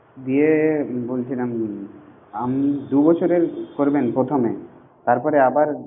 দিয়ে বলছিলাম আম দু বছরের করবেন প্রথমে তারপরে আবার